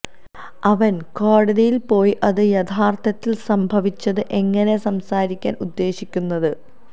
അവൻ കോടതിയിൽ പോയി അത് യഥാർത്ഥത്തിൽ സംഭവിച്ചത് എങ്ങനെ സംസാരിക്കാൻ ഉദ്ദേശിക്കുന്നത്